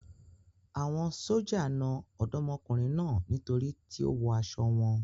Àwọn sójà na Ọ̀dọ́mọkùnrin náà nítorí tí ó wọ aṣọ wọn.